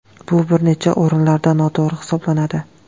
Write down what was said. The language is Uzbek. Bu bir necha o‘rinlarda noto‘g‘ri hisoblanadi.